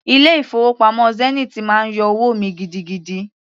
Ilé-ìfowópamọ́ Zenith máa ń yọ owó mi gidigidi.